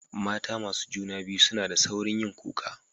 Mata masu juna biyu suna da sauri yin kuka.